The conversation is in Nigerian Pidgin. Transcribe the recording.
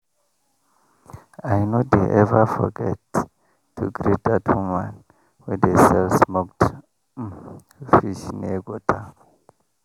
i no dey ever forget to greet that woman wey dey sell smoked um fish near gutter.